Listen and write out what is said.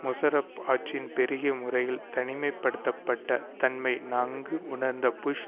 முஷாரஃப் ஆட்சியின் பெருகிய முறையில் தனிமை படுத்த பட்ட தன்மை நன்கு உணர்ந்த புஷ்